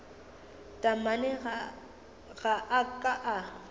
taamane ga a ka a